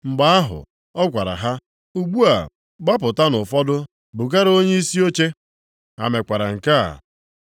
Mgbe ahụ, ọ gwara ha, “Ugbu a, gbapụtanụ ụfọdụ bugara onyeisi oche.” Ha mekwara nke a.